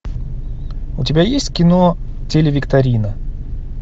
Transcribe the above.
у тебя есть кино телевикторина